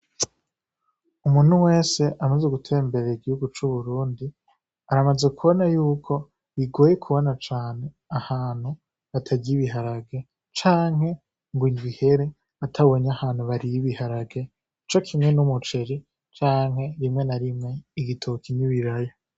Umuntu wese amaze ugutera imbera igihugu c'uburundi aramaze kubona yuko bigoye kubona cane ahantu batagyibiharage canke ngo inj ihere atabenye ahantu bariyibiharage ico kimwe n'umuceji canke rimwe na rimwe igitoo kinyu birayo.